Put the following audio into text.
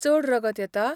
चड रगत येता?